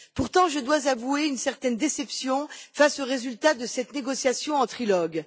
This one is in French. Pourtant, je dois avouer une certaine déception face au résultat de cette négociation en trilogue.